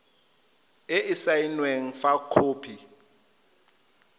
e e saenweng fa khopi